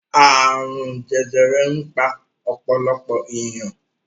Àrùn jẹjẹrẹ ń pa ọ̀pọ̀lọpọ̀ ènìyàn.